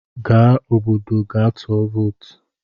Gaa obodo gaa tụọ vootu!